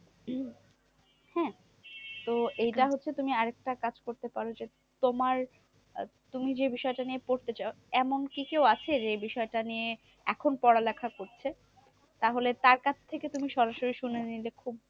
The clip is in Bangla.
তোমার আহ তুমি যে বিষয়েটা নিয়ে পড়তে চাও? এমন কি কেউ আছে যে এই বিষয়টা নিয়ে এখন পড়া লেখা করছে? তাহলে তার কাছ থেকে তুমি সরাসরি শুনে নিলে খুব